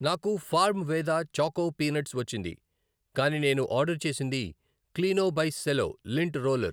నాకు farm Veda choco peanuts వచ్చింది కానీ నేను ఆర్డర్ చేసింది cleano by Cello lint roller .